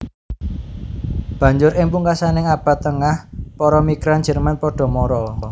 Banjur ing pungkasaning Abad Tengah para migran Jerman padha mara